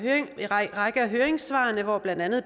række af høringssvarene hvor blandt andet